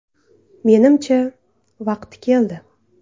Menimcha, vaqti keldi.